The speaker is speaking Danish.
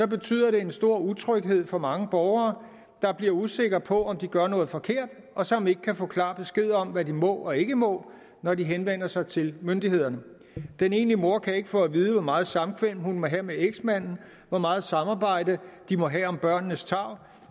betyder det en stor utryghed for mange borgere der bliver usikre på om de gør noget forkert og som ikke kan få klar besked om hvad de må og ikke må når de henvender sig til myndighederne den enlige mor kan ikke få at vide hvor meget samkvem hun må have med eksmanden hvor meget samarbejde de må have om børnenes tarv